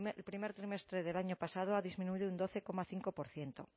al primer trimestre del año pasado ha disminuido un doce coma cinco por ciento